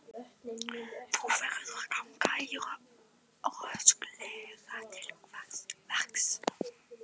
Þú verður að ganga rösklega til verks.